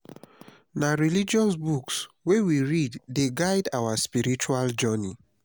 na religious books wey we read dey guide our spiritual journey.